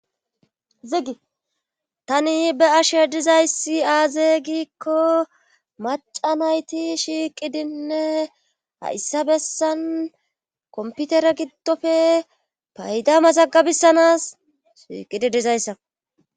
ziggi tani be ashe dizayssi aaze gikko maca nayti shiiqidinne hayssa bessan komputere giddofe payda mazagabissanas shiiqidi dizayssa